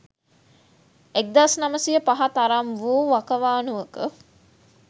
1905 තරම් වූ වකවානුවක